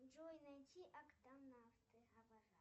джой найти октонавты